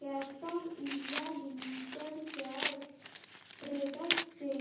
Castrol India limited shares trends चे